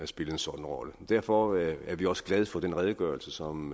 spille en sådan rolle derfor er vi også glade for den redegørelse som